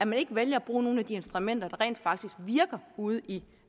man ikke vælger at bruge nogle af de instrumenter der rent faktisk virker ude i